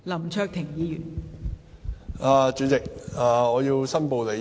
代理主席，我要申報利益。